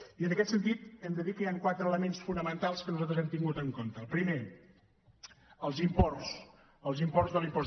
i en aquest sentit hem de dir que hi han quatre elements fonamentals que nosaltres hem tingut en compte el primer els imports els imports de l’impost